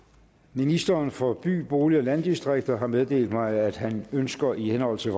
ministeren for by bolig og landdistrikter har meddelt mig at han ønsker i henhold til